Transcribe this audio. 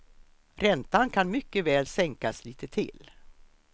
Räntan kan mycket väl sänkas lite till.